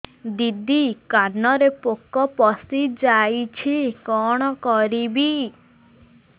ଦିଦି କାନରେ ପୋକ ପଶିଯାଇଛି କଣ କରିଵି